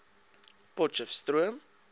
potchestroom